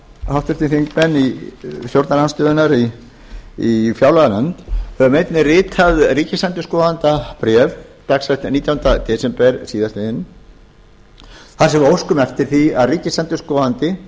háttvirtir þingmenn stjórnarandstöðunnar í fjárlaganefnd höfum einnig ritað ríkisendurskoðanda bréf dagsett nítjánda desember síðastliðnum þar sem við óskum eftir því að ríkisendurskoðandi